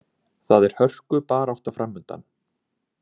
Það er hörkubarátta framundan.